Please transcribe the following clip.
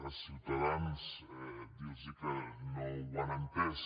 a ciutadans dir los que no ho han entès